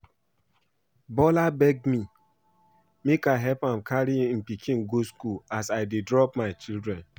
Bola beg me make I help am carry im pikin go school as I dey drop my children